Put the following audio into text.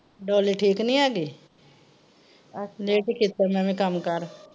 Dolly ਠੀਕ ਨੀ ਹੈਗੀ late ਈ ਕੀਤਾ ਮੈਂ ਵੀ ਕੱਮ ਕਾਰ।